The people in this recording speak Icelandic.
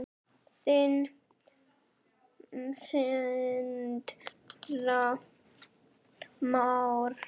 Þinn, Sindri Már.